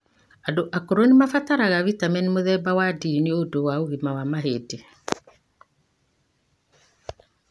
Andũ akũru nĩ mabataraga vitamini mũthemba wa D nĩundũ wa ũgima wa mahĩndĩ.